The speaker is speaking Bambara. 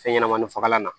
Fɛnɲɛnɛmanin fagalan na